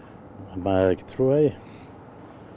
maður hefði ekki trúað því